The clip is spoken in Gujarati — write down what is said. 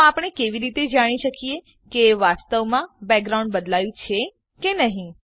તો આપણે કેવી રીતે જાણી શકીએ કે વાસ્તવમાં બેકગ્રાઉન્ડ બદલાયું છે કે નહી